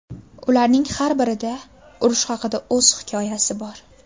Ularning har birida urush haqida o‘z hikoyasi bor.